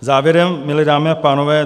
Závěrem, milé dámy a pánové.